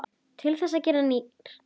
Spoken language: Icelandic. Til þess að gera nýir.